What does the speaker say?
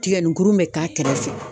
Tigɛni kurun bɛ k'a kɛrɛfɛ.